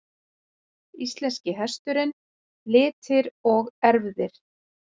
Íslenski hesturinn- litir og erfðir.